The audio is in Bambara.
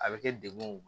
A bɛ kɛ dekun